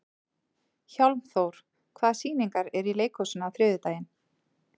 Hjálmþór, hvaða sýningar eru í leikhúsinu á þriðjudaginn?